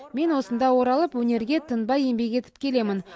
мен осында оралып өнерге тынбай еңбек етіп келемін